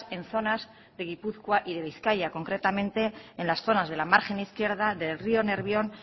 en zonas de gipuzkoa y de bizkaia concretamente en las zonas de la margen izquierda del río nervión